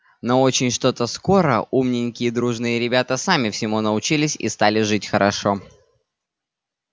но очень что-то скоро умненькие и дружные ребята сами всему научились и стали жить хорошо